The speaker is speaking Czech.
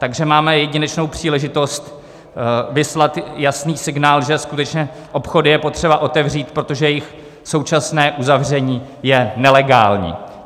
Takže máme jedinečnou příležitost vyslat jasný signál, že skutečně obchody je potřeba otevřít, protože jejich současné uzavření je nelegální.